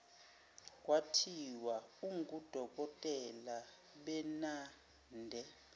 kwathiwa ungudokotela benade